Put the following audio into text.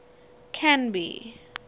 canby